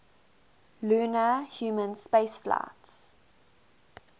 lunar human spaceflights